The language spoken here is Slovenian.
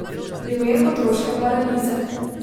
Primer otroške paralize.